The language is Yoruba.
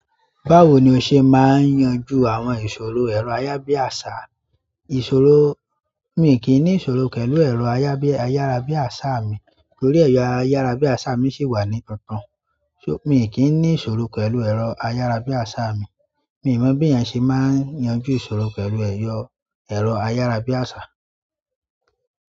Báwo ni o ṣe máa n yanjú àwọn ìṣòro ẹ̀rọ ayárabíàṣá? Ìṣòro. Mi kì í ní ìṣòro pẹ̀lú ẹ̀rọ ayabi ayárabíàṣá mi nítorí ẹ̀rọ ayárabíàṣá mi sì wà ní tuntun. Mi kì í ní ìṣòro pẹ̀lú ẹ̀rọ ayárabíàṣá mi. Mi ò mọ̀ bí ẹeyan ṣe máa n yanjú ìṣòro pẹ̀lú ero ẹ̀rọ ayárabíàṣá.